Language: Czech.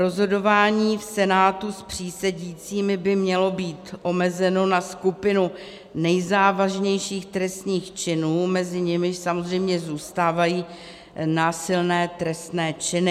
Rozhodování v senátu s přísedícími by mělo být omezeno na skupinu nejzávažnějších trestných činů, mezi nimiž samozřejmě zůstávají násilné trestné činy.